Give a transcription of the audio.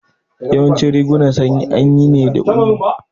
Yawancin rigunan sanyi anyi ne daga ulu